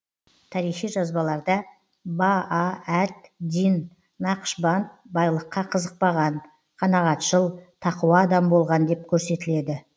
тарихи жазбаларда баа әд дин нақшбанд байлыққа қызықпаған қанағатшыл тақуа адам болған деп көрсетіледі